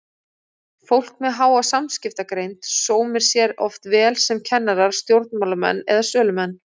Fólk með háa samskiptagreind sómir sér oft vel sem kennarar, stjórnmálamenn eða sölumenn.